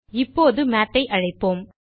இப்போது Mathஐ அழைப்போம்